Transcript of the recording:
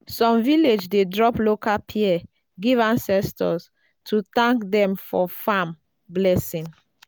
some village dey drop local pear give ancestors to thank dem for farm blessing.